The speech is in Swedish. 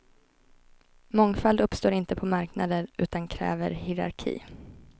Mångfald uppstår inte på marknader utan kräver hierarki.